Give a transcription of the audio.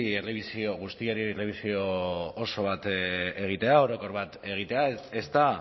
errebisio orokor bat egitea ezta